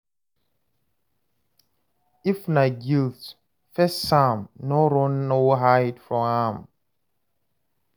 If na guilt, face am no run or hide from am